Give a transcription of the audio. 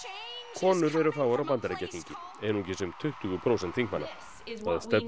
konur eru fáar á Bandaríkjaþingi einungis um tuttugu prósent þingmanna það stefnir